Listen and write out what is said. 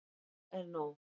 Nóg er nóg.